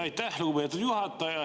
Aitäh, lugupeetud juhataja!